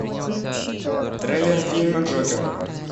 трейлер фильма джокер